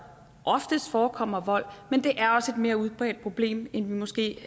oftest forekommer vold men det er også et mere udbredt problem end vi måske